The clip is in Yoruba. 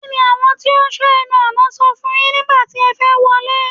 Kí ni àwọn tí ó ń sọ ẹnu ọ̀nà sọ fún yín nígbà tí ẹ fẹ́ wọlé?